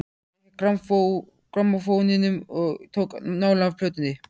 Gekk að grammófóninum og tók nálina af plötunni.